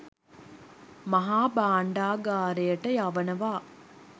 මහා භාණ්ඩගාරයට යවනවා